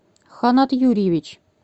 ханат юрьевич